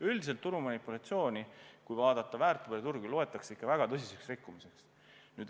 Üldiselt turumanipulatsiooni, kui vaadata väärtpaberiturgu, loetakse ikka väga tõsiseks rikkumiseks.